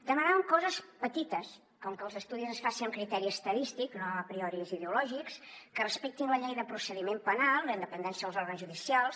demanàvem coses petites com que els estudis es facin amb criteri estadístic no amb apriorismes ideològics que respectin la llei de procediment penal la independència dels òrgans judicials